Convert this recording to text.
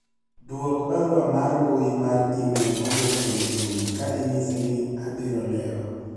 dwok barua mar mbui mar email mowuok kuom juma ka inyise ni abiro lewo